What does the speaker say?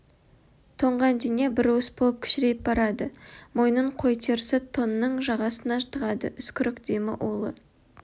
тоңған дене бір уыс болып кішірейіп барады мойнын қой терісі тонның жағасына тығады үскірік демі улы